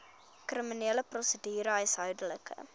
kriminele prosedure huishoudelike